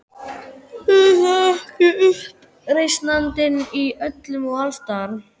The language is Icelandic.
Er það ekki uppreisnarandinn- í öllum og alls staðar.